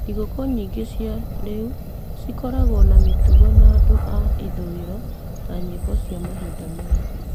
Thĩgũkũ nyingĩ cia rĩu cikoragwo na mĩtugo ya andũ a ithũĩro ta nyĩmbo cia mahinda maya.